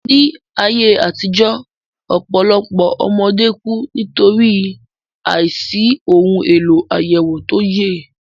Ní ayé àtijó, ọpọlọpoọ ọmọdé ku\ ni\tòrí àìsí ohun èlò àyẹ̀wò tó yẹ